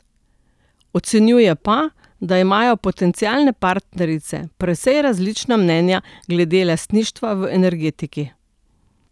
Ocenjuje pa, da imajo potencialne partnerice precej različna mnenja glede lastništva v energetiki.